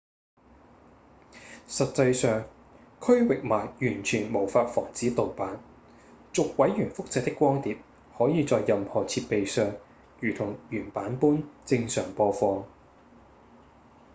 實際上區域碼完全無法防止盜版；逐位元複製的光碟可以在任何設備上如同原版般正常播放